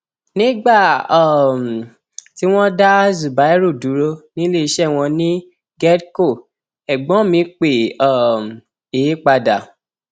nígbà um tí wọn dá zubairu dúró níléeṣẹ wọn ní gedco ẹgbọn mi pè um é padà